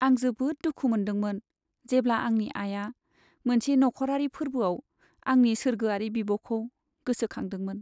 आं जोबोद दुखु मोन्दोंमोन, जेब्ला आंनि आइया मोनसे नखरारि फोर्बोआव आंनि सोर्गोआरि बिब'खौ गोसोखांदोंमोन।